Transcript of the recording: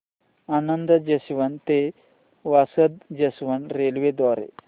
Anand junction ते Vasad junction railway द्वारे